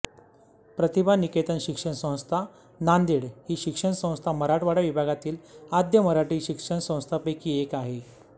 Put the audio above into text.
प्रतिभा निकेतन शिक्षण संस्था नांदेड ही शिक्षणसंस्था मराठवाडा विभागातील आद्य मराठी शिक्षणसंस्थांपैकी एक आहे